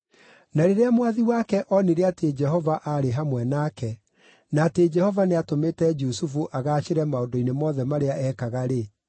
Na rĩrĩa mwathi wake onire atĩ Jehova aarĩ hamwe nake, na atĩ Jehova nĩatũmĩte Jusufu agaacĩre maũndũ-inĩ mothe marĩa ekaga-rĩ,